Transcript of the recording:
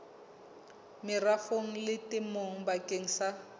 merafong le temong bakeng sa